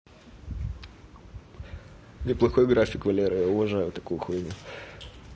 неплохой график валера я уважаю такую хуйню